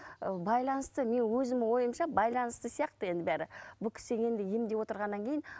ы байланысты менің өзімнің ойымша байланысты сияқты енді бәрі бұл кісі енді емдеп отырғаннан кейін